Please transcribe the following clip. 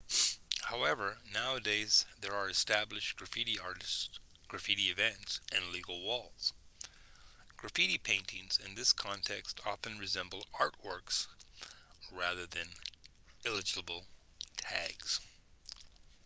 however nowadays there are established graffiti artists graffiti events and legal walls graffiti paintings in this context often resemble artworks rather than illegible tags